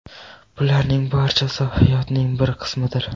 Bularning barchasi hayotning bir qismidir.